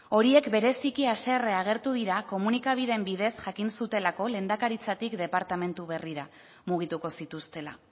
horiek bereziki haserre agertu dira komunikabideen bidez jakin zutelako lehendakaritzatik departamentu berrira mugituko zituztela